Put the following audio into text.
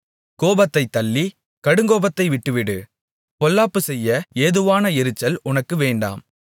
கோபத்தை தள்ளி கடுங்கோபத்தை விட்டுவிடு பொல்லாப்புச் செய்ய ஏதுவான எரிச்சல் உனக்கு வேண்டாம்